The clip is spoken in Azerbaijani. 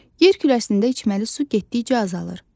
Yer kürəsində içməli su getdikcə azalır.